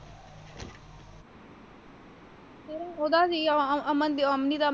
ਉਹਦਾ ਸੀ ਉਹ ਅਮਨ ਅਮਨਿ ਦਾ।